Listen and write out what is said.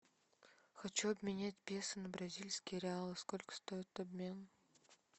хочу обменять песо на бразильские реалы сколько стоит обмен